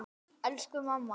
Elsku mamma!